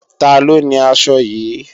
Taló ni aṣọ yìí?